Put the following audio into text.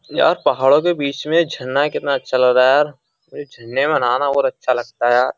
यार पहाड़ों के बीच में झन्ना कितना अच्छा लग रहा है यार मुझे झन्ने में बनाना और अच्छा लगता है यार।